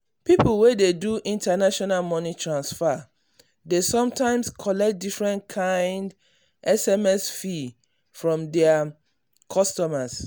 people wey dey do international money transfer dey sometimes collect different kind sms fee from their customers.